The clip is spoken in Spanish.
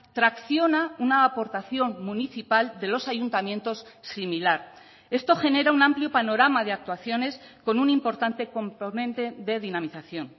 tracciona una aportación municipal de los ayuntamientos similar esto genera un amplio panorama de actuaciones con un importante componente de dinamización